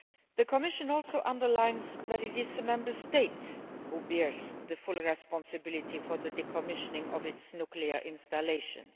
The Commission also underlines that it is the Member State that bears full responsibility for the decommissioning of its nuclear installations.